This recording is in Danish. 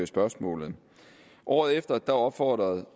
spørgsmålet året efter opfordrede